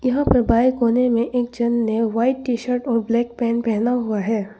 यहां पर बाएं कोने में एक जन ने व्हाइट टी शर्ट और ब्लैक पेंट पहना हुआ है।